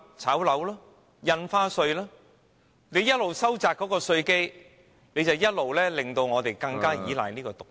政府一邊收窄稅基，一邊又令我們更依賴這些"毒藥"......